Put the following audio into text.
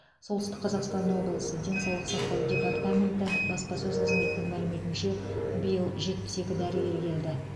солтүстік қазақстан облысы денсаулық сақтау департаменті баспасөз қызметінің мәліметінше биыл жетпіс екі дәрігер келді